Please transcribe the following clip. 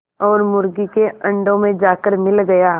और मुर्गी के अंडों में जाकर मिल गया